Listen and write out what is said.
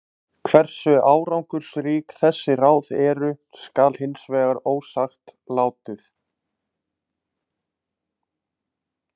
Hversu árangursrík þessi ráð eru skal hins vegar ósagt látið.